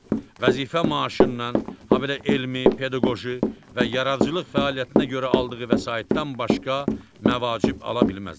Vəzifə maaşından, habelə elmi, pedaqoji və yaradıcılıq fəaliyyətinə görə aldığı vəsaitdən başqa məvacib ala bilməzlər.